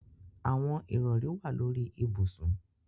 Awọn irọri wa lori ibusun.